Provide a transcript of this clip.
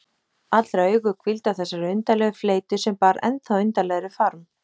Allra augu hvíldu á þessari undarlegu fleytu, sem bar ennþá undarlegri farm.